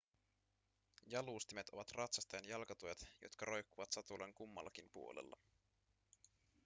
jalustimet ovat ratsastajan jalkatuet jotka roikkuvat satulan kummallakin puolella